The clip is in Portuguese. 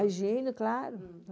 Agindo, claro.